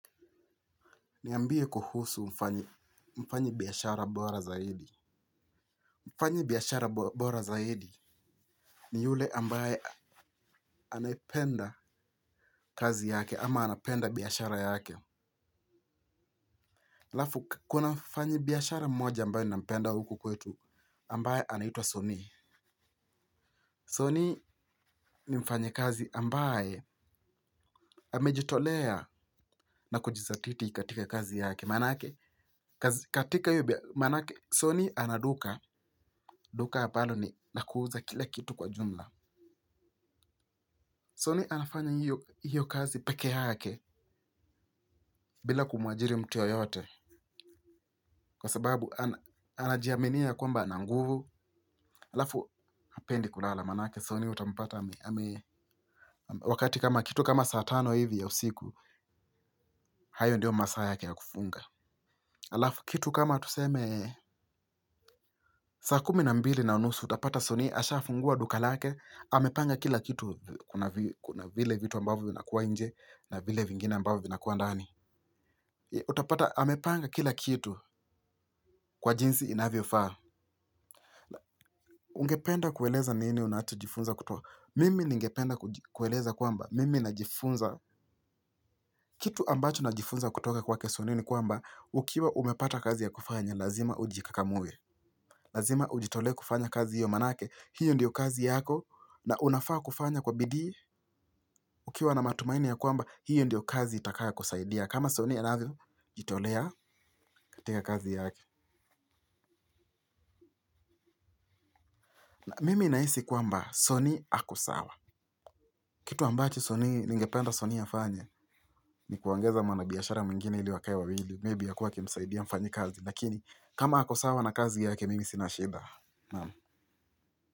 Niambie kuhusu mfanyabiashara bora zaidi. Mfanya biashara bora zaidi ni yule ambaye anapenda kazi yake ama anapenda biashara yake. Halafu kuna mfanya biashara mmoja ambaye anapenda huku kwetu ambaye anaitwa Sony. Sony ni mfanyakazi ambaye amejitolea na kujithatiti katika kazi yake. Maanake, katika hiyo bia, manake, Sony ana duka, duka ambalo ni la kuuza kile kitu kwa jumla Soni anafanya hiyo kazi peke yake bila kumuajiri mtu yoyote. Kwa sababu anajiaminia kwamba ana nguvu alafu, hapendi kulala, maanake, Sony utampata ame, wakati kama kitu kama saa tano hivi ya usiku, hayo ndio masaa yake ya kufunga. Alafu, kitu kama tuseme, saa kumi na mbili na unusu utapata Sony asha fungua duka lake. Amepanga kila kitu kuna vile vitu ambavyo vinakuwa nje. Na vile vingine ambavyo vinakuwa ndani. Utapata amepanga kila kitu kwa jinsi inavyo faa. Ungependa kueleza nini unachojifunza kutoka. Mimi ningependa kueleza kwamba Mimi najifunza kitu ambacho najifunza kutoka kwake Sony ni kwamba ukiwa umepata kazi ya kufanya lazima ujikakamue. Lazima ujitolee kufanya kazi hiyo maanake. Hiyo ndio kazi yako. Na unafaa kufanya kwa bidii. Ukiwa na matumaini ya kwamba, hiyo ndiyo kazi itakayo kusaidia. Kama Sony anavyojitolea katika kazi yake. Mimi nahisi kwamba Sony ako sawa. Kitu ambacho Sony, ningependa Sony afanye, ni kuongeza mwana biashara mwingine ili wakae wawili. Maybe akue akimsaidia mfanyakazi. Lakini, kama ako sawa na kazi yake, mimi sina shida naam.